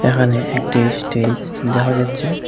এখানে একটি স্টেজ দেখা যাচ্ছে।